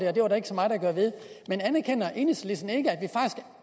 at det var der ikke så meget at gøre ved men anerkender enhedslisten ikke